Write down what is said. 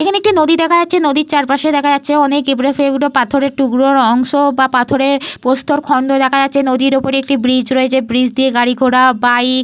এইখানে একটি নদী দেখা যাচ্ছে। নদীর চারপাশে দেখা যাচ্ছে অনেক এবড়োখেবড়ো পাথরের টুকরোর অংশ বা পাথরের প্রস্তরখন্ড দেখা যাচ্ছে। নদীর ওপরে ব্রিজ রয়েছে। ব্রিজ দিয়ে গাড়ি ঘোড়া বাইক --